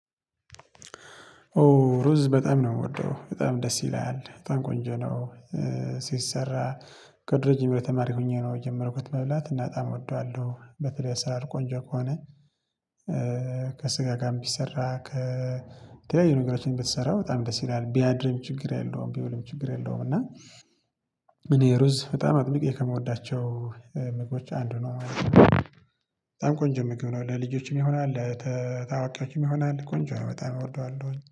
ኦ ሩዝ በጣም ነው የምወደው በጣም ደስ ይላል በጣም ቆንጆ ነው። ሲሰራ ከድሮ ጀምሮ ተማሪ ሆኜ ነው የጀመርኩት መብላት እና በጣም እወደዋለሁ በተለይ ስራ ቆንጆ ከሆነ። ከስጋ ጋር ቢሰራ ከተለያዩ ነገሮችን ብትሰራ በጣም ደስ ይለኛል ቢያድርም ችግር የለውም ቢውልም ችግር የለውም። እና እኔ ሩዝ በጣም አጥብቄ ከምወዳቸው ምግቦች አንዱ ነው በጣም ቆንጆ ምግብ ነው ለልጆችም ይሆናል። ለአዋቂዎችም ይሆናል ቆንጆ ነው በጣም እወደዋለሁ